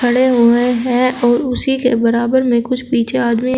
खड़े हुए हैं और उसी के बराबर में कुछ पीछे आदमी--